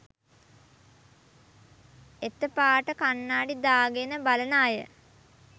එත පාට කන්නාඩි දාගෙන බලන අය